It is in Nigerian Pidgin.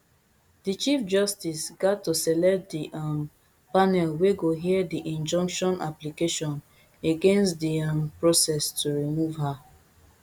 di chief justice gat to select di um panel wey go hear di injunction application against di um process to remove her